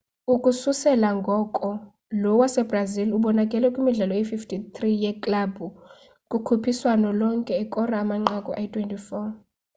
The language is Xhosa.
ukususela ngoko lo wasebrazil ubonakale kwimidlalo eyi-53 yeklabhu kukhuphiswano lonke ekora amanqaku ayi-24